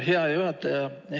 Hea juhataja!